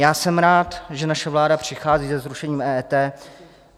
Já jsem rád, že naše vláda přichází se zrušením EET.